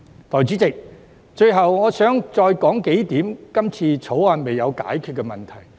代理主席，最後，我想再提出幾點《條例草案》尚未解答的問題。